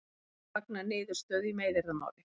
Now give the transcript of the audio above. Fagna niðurstöðu í meiðyrðamáli